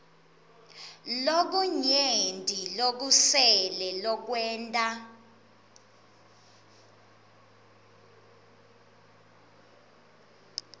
lokunyenti lokusele lokwenta